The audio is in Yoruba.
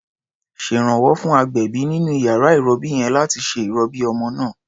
Ṣèrànwọ́ fún agbẹ̀bí nínú iyàrá ìrọbí yẹn láti ṣe ìrọbí ọmọ náà.